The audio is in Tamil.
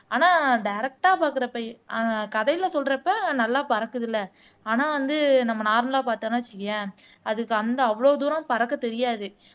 ஆனால் டைரக்ட்டா பார்க்கிறபையே ஆஹ் கதையில சொல்றப்ப நல்லா பறக்குது இல்ல ஆனா வந்து நம்ம நார்மலா பார்த்தோம்ன்னு வச்சுக்கயேன் அதுக்கு அந்த அவ்வளவு தூரம் பறக்கத் தெரியாது